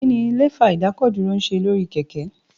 Kí ni Lẹ́fà ìdákọ̀dúró ń ṣe lórí kẹ̀kẹ́?